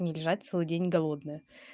не лежать целый день голодная